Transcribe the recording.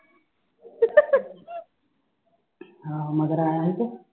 ਹਾਂ ਮਗਰ ਆਇਆ ਸੀ ਤੇ